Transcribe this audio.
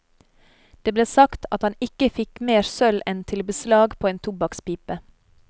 Det ble sagt at han ikke fikk mer sølv enn til beslag på en tobakkspipe.